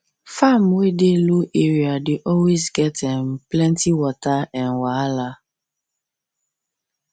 farm wey dey low area dey always get um plenty water um wahala